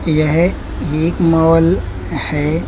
यह ये एक मॉल है।